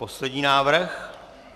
Poslední návrh?